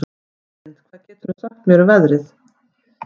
Kristlind, hvað geturðu sagt mér um veðrið?